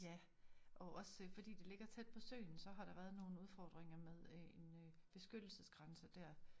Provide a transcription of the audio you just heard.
Ja og også fordi det ligger tæt på søen så har der været nogle udfordringer med øh en øh beskyttelsesgrænse dér